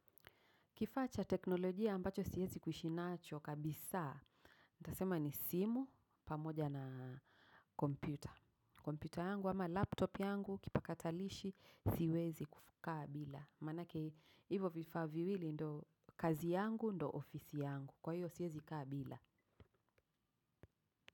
Kifaa cha teknolojia ambacho siezi kuishi nacho kabisa. Nitasema ni simu pamoja na kompyuta. Kompyuta yangu ama laptop yangu kipakatalishi siwezi kukaa bila. Maanake hivyo vifaa viwili ndo kazi yangu ndo ofisi yangu. Kwa hiyo siezi kaa bila.